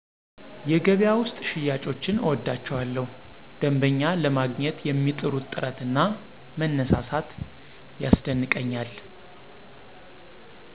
የገበያ ውስጥ ሽያጮችን እወዳቸዋለሁ ደንበኛ ለማግኝት የሚጥሩት ጥረት እና መነሳሳት ያስደንቀኛል።